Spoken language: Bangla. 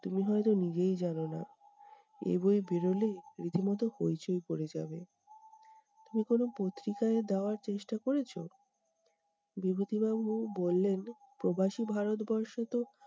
তুমি হয়ত নিজেই জানোনা, এই বই বেড়োলে রীতিমতো হইচই পরে যাবে। তুমি কোনো পত্রিকায় দেওয়ার চেষ্টা করেছো? বিভূতিবাবু বললেন প্রবাসী ভারতবর্ষে তো